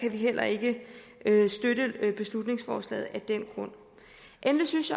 heller ikke støtte beslutningsforslaget endelig synes